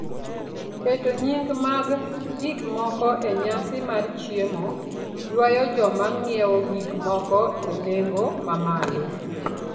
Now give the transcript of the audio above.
Keto nying ' mag gik moki e nyasi mar chiemo, ywayo joma ng'iewo gik moko e nengo mamalo.